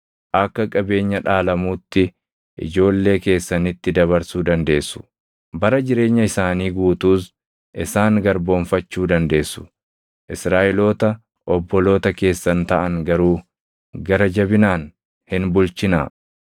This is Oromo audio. Akka qabeenya dhaalamuutti ijoollee keessanitti dabarsuu dandeessu; bara jireenya isaanii guutuus isaan garboomfachuu dandeessu; Israaʼeloota obboloota keessan taʼan garuu gara jabinaan hin bulchinaa.